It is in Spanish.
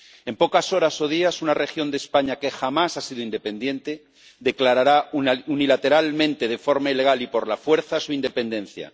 En pocas horas o días, una región de España, que jamás ha sido independiente, declarará unilateralmente, de forma ilegal y por la fuerza a su independencia.